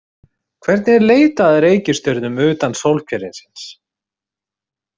Hvernig er leitað að reikistjörnum utan sólkerfisins?